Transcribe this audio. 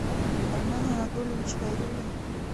армен анатольевич хайрулин